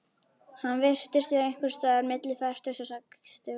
Hann virtist vera einhvers staðar milli fertugs og sextugs.